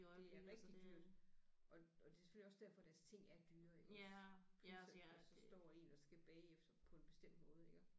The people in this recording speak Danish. Det er rigtig dyrt og og det er selvfølgelig også derfor deres ting er dyre iggås plus at der så står én og skal bage efter på en bestemt måde iggå